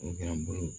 O kɛra n bolo